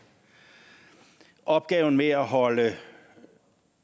opgaven med at holde